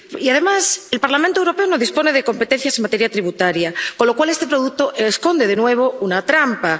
Y, además, el Parlamento Europeo no dispone de competencias en materia tributaria, con lo cual este producto esconde, de nuevo, una trampa.